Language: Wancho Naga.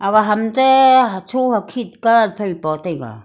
ag ham te hacho hakhit colour phai po taiga.